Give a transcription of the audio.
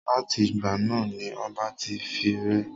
Láti ìgbà náà ni ọba ti fi ré.